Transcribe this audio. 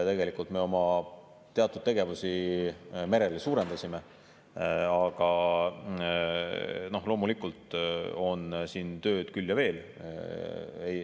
Tegelikult me oma teatud tegevusi merel ju suurendasime, aga loomulikult on siin tööd küll ja veel.